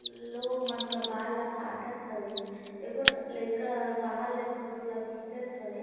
लोक मन के बाल ला काटत हवे ए गो लईका हर बाहर ले फोटो ला खींचत हवे।